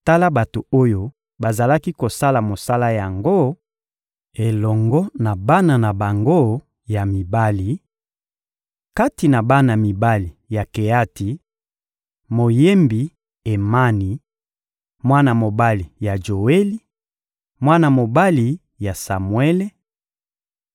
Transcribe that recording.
Tala bato oyo bazalaki kosala mosala yango, elongo na bana na bango ya mibali: Kati na bana mibali ya Keati: Moyembi Emani, mwana mobali ya Joeli, mwana mobali ya Samuele,